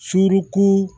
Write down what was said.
Surun